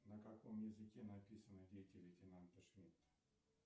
на каком языке написаны дети лейтенанта шмидта